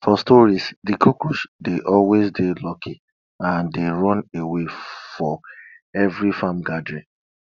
for stories de cockroach dey always dey unlucky and dey run away for every farm gathering